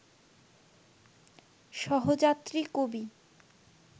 সহযাত্রী কবি